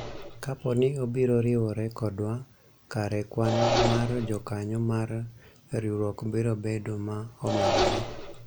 kapo ni obiro riwore kodwa kare kwan mar jokanyo mar riwruok biro bedo ma omedore